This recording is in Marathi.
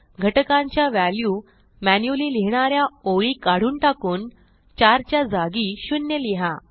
घटकांच्या व्हॅल्यू मॅन्युअली लिहिणा या ओळी काढून टाकून 4 च्या जागी 0 लिहा